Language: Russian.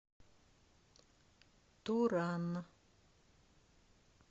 туран